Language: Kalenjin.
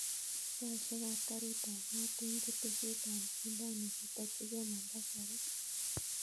Saishek ap karit ap maat en ketesyet ap mkindani ketakyi kee mombasa raa